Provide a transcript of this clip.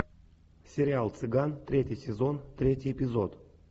сериал цыган третий сезон третий эпизод